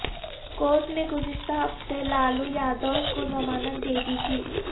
court نے گزشتہ ہفتے لالو یادو کو ضمانت دے دی تھی